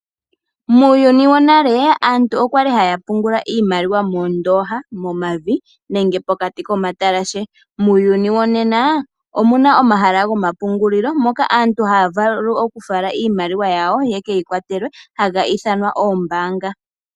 Muuyuni wonale aantu okwali haya pungula iimaliwa moondooha momavi nenge pokati ko matalashe. Muuyuni wonena omuna omahala go mapungulilo moka aantu haya vulu oku fala iimaliwa yawo ye keyi kwatelwe haga ithanwa oombaanga.